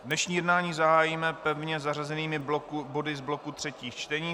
Dnešní jednání zahájíme pevně zařazenými body z bloku třetích čtení.